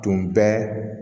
Tun bɛ